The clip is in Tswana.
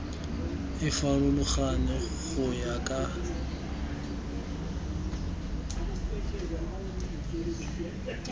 e farologane go ya ka